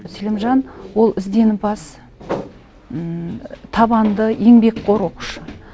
селимжан ол ізденімпаз табанды еңбекқор оқушы